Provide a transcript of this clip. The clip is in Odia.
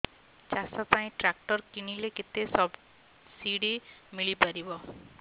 ଚାଷ ପାଇଁ ଟ୍ରାକ୍ଟର କିଣିଲେ କେତେ ସବ୍ସିଡି ମିଳିପାରିବ